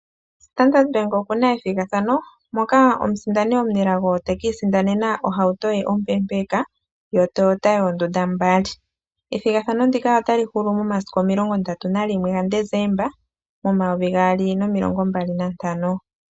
Standard bank okuna ethigathano moka omusindani omunelago te kiisindanena oohauto ye ompepeka yoToyota yoondunda mbali ethigathano ndika otali hulu momasiku 31 Dezemba 2025.